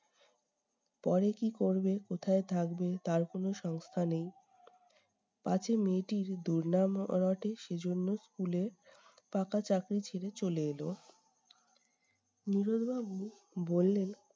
পরে কী করবে কোথায় থাকবে তার কোন সংস্থা নেই, পাছে মেয়েটির দুর্নাম র রটে সেজন্য school এ পাকা চাকরি ছেড়ে চলে এলো। নীরদ বাবু বললেন